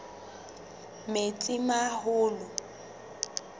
metsimaholo